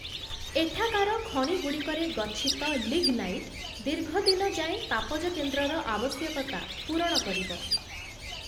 ଏଠାକାର ଖଣିଗୁଡ଼ିକରେ ଗଚ୍ଛିତ ଲିଗ୍‌ନାଇଟ୍‌ ଦୀର୍ଘଦିନ ଯାଏଁ ତାପଜକେନ୍ଦ୍ରର ଆବଶ୍ୟକତା ପୂରଣ କରିବ ।